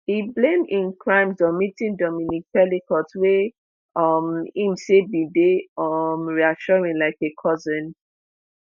e blame im crimes on meeting dominique pelicot wey um im say bin dey um reassuring like a cousin